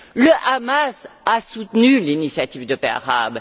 Le Hamas a soutenu l'initiative de paix arabe.